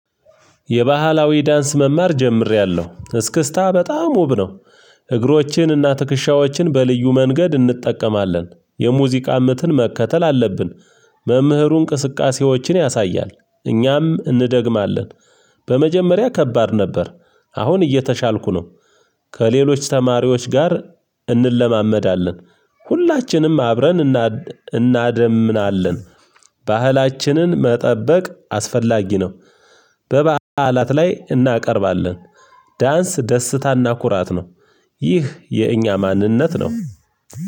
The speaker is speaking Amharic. የባህላዊ ዳንስ መማር ጀምሬያለሁ እስክስታ በጣም ውብ ነው። እግሮችንና ትክሻዎችን በልዩ መንገድ እንጠቀማለን የሙዚቃ ምትን መከተል አለብን። መምህሩ እንቅስቃሴዎችን ያሳያል እኛም እንደግማለን። በመጀመሪያ ከባድ ነበር። አሁን እየተሻልኩ ነው። ከሌሎች ተማሪዎች ጋር እንለማመዳለን። ሁላችንም አብረን እና እናደምናለን። ባህላችንን መጠበቅ አስፈላጊ ነው። በባዕላት ላይ እናቀርባለን። ዳንስ ደስታና ኩራት ነው። ይህ የእኛ ማንነት ነው።